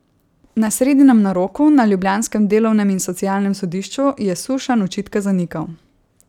Na sredinem naroku na ljubljanskem delovnem in socialnem sodišču je Sušanj očitke zanikal.